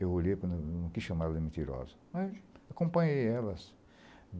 Eu olhei, com não não quis chamar ela de mentirosa, mas acompanhei elas.